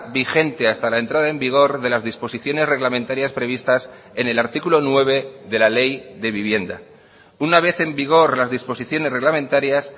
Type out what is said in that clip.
vigente hasta la entrada en vigor de las disposiciones reglamentarias previstas en el artículo nueve de la ley de vivienda una vez en vigor las disposiciones reglamentarias